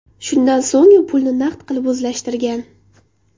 Shundan so‘ng u pulni naqd qilib o‘zlashtirgan.